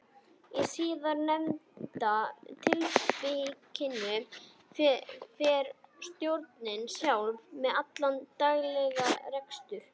Í síðarnefnda tilvikinu fer stjórnin sjálf með allan daglegan rekstur.